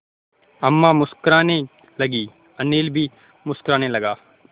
अम्मा मुस्कराने लगीं अनिल भी मुस्कराने लगा